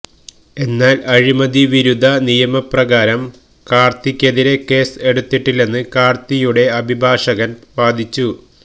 എന്നാല് അഴിമതി വിരുദ്ധ നിയമപ്രകാരം കാര്ത്തിക്കെതിരെ കേസ് എടുത്തിട്ടില്ലെന്ന് കാര്ത്തിയുടെ അഭിഭാഷകന് വാദിച്ചു